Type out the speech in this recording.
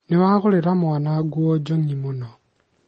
nĩwagũrĩra mwana nguo njong'i mũno